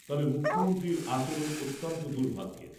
তবে মুখ্যমন্ত্রীর আচরণ অত্যন্ত দুর্ভাগ্যের।